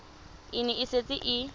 e ne e setse e